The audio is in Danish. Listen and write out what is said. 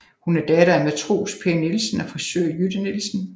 Hun er datter af matros Per Nielsen og frisør Jytte Nielsen